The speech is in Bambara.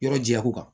Yɔrɔ jɛya ko kan